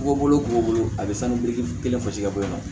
Bɔgɔ bolo b'o bolo a bɛ sanu biriki kelen fosi ka bɔ yen nɔ